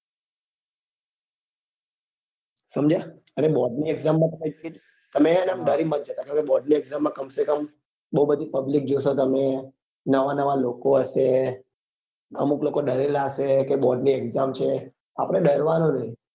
સમજ્યા અને board ની exam માં તો એમ તમે છે ને આમ ડરી મત જતા તમેં board ની exam માં complete આમ બઉ બધી public જોશો તમે નવા નવા લોકો હશે અમુક ડરેલા હશે કે board ની exam છે આપડે ડરવા નું નહિ